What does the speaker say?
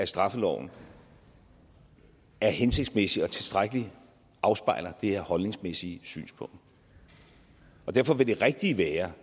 straffeloven er hensigtsmæssig og tilstrækkeligt afspejler det her holdningsmæssige synspunkt derfor vil det rigtige være